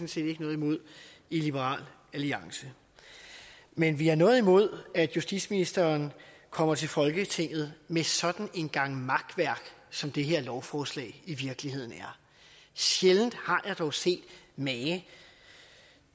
set ikke noget imod i liberal alliance men vi har noget imod at justitsministeren kommer til folketinget med sådan en gang makværk som det her lovforslag i virkeligheden er sjældent har jeg dog set mage